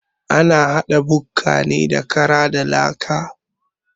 Ana haɗa jinka ne da kara da laka.